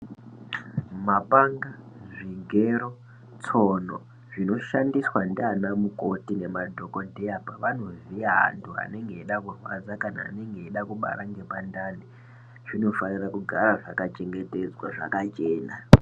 Mapanga, zvigero, tsono zvinoshandiswa ndiana mukoti nemadhogodheya pevanovhiya vantu vanenge veida kurwadza kana anenge eida kubara ngepandani zvinofanire kugara zvakachengetedzwa zvakachena.